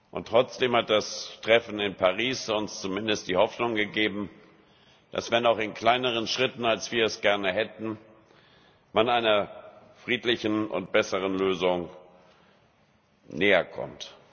Und trotzdem hat das Treffen in Paris uns zumindest die Hoffnung gegeben, dass man wenn auch in kleineren Schritten, als wir es gerne hätten einer friedlichen und besseren Lösung näherkommt.